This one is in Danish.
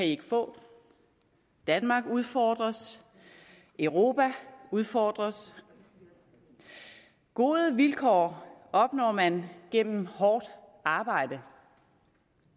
ikke få danmark udfordres europa udfordres gode vilkår opnår man gennem hårdt arbejde